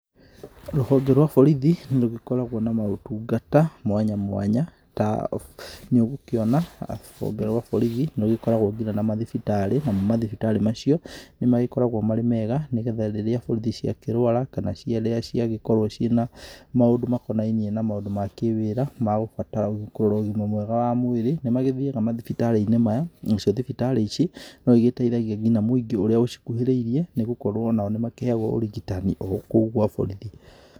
Rũhonge rũa borithi, nĩ rũgĩkoragũo na maũtungata, mwanya mwanya, ta, nĩ ũgũkĩona, rũhonge rũa borithi nĩ rũkoragũo na kinya mathibitarĩ, namo mathibitari macio, nĩ magĩkoragũo marĩ mega, nĩ getha rĩrĩa borithi cia kĩrũara, kana rĩrĩa ciagĩkorũo ciĩ na maũndũ makonainie na maũndũ ma kĩ-wĩra, magũbatara gũkorũo na ũgima mwega wa mwĩrĩ, nĩ magĩthiaga mathibitarĩ-inĩ maya, na cio thibitarĩ ici, no igĩteithagia kinya mũingi ũrĩa ũcikuhĩrĩirĩe, nĩg ũkorũo onao nĩ makĩheagũo ũrigitani okũu gũa borithi.